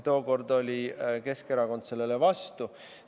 Tookord oli Keskerakond sellele vastu.